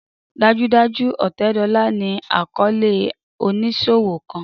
Dajudaju Otedola ni akọọlẹ oniṣowo kan